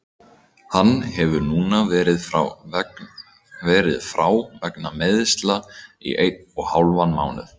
Hann hefur núna verið frá vegna meiðsla í einn og hálfan mánuð.